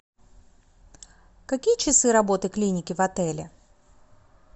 какие часы работы клиники в отеле